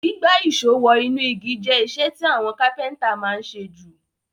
Gbígbá ìsó wo inú igi je isẹ́ ti àwon carpenter ma n sé ju